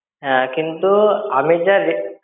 হ্যাঁ, কিন্তু আমি যা রে~